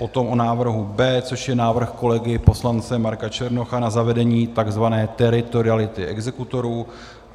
Potom o návrhu B, což je návrh kolegy poslance Marka Černocha na zavedení tzv. teritoriality exekutorů.